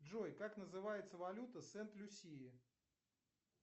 джой как называется валюта сент люсии